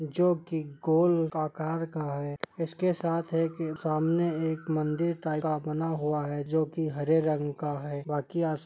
जो के गोल का कार का है इसके साथ है की सामने एक मंदिर टाइप का बना हुआ है जो की हरे रंग का है बाकी अस--